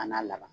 A n'a laban